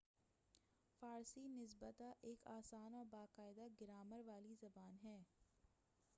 فارسی نسبۃً ایک آسان اور با قاعدہ گرامر والی زبان ہے